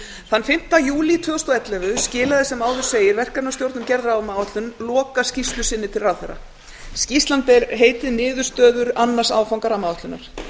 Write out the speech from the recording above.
þann fimmta júlí tvö þúsund og ellefu skilaði sem áður segir verkefnisstjórn um gerð rammaáætlunar lokaskýrslu sinni til ráðherra skýrslan ber heitið niðurstöður annars áfanga rammaáætlunar